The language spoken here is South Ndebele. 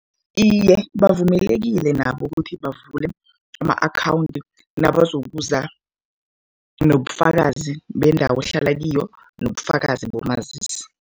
Iye, bavumelekile nabo ukuthi bavule ama-akhawundi nabazokuza nobufakazi bendawo ohlala kiyo nobufakazi bomazisi.